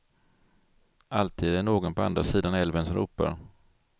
Alltid är det någon på andra sidan älven som ropar.